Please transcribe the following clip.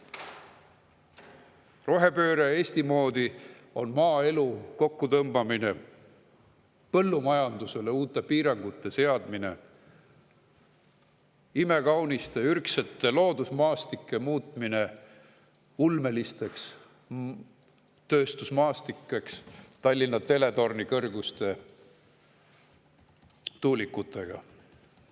Rohepööre Eesti moodi on maaelu kokkutõmbamine, põllumajandusele uute piirangute seadmine, imekaunite ürgsete loodusmaastike muutmine ulmelisteks tööstusmaastikeks Tallinna teletorni kõrguste tuulikutega.